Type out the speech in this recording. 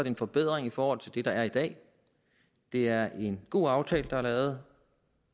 en forbedring i forhold til det der er i dag det er en god aftale der er lavet